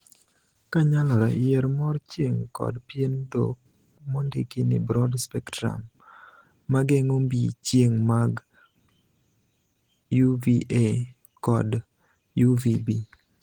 Ka nyalore, yier mor chieng kod pien dhok mondiki ni 'broad spectrum' (mageng'o mbii chieng mag 'UVA' kod 'UVB'.